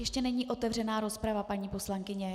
Ještě není otevřená rozprava, paní poslankyně.